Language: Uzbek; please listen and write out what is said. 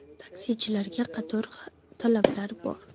Taksichilarga qator talablar bor.